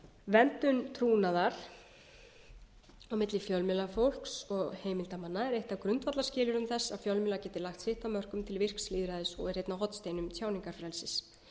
verndun trúnaðar á milli fjölmiðlafólks og heimildarmanna er eitt af grundvallarskilyrðum þess að fjölmiðlar geti lagt sitt af mörkum til vígslu og á hornsteinum tjáningarfrelsis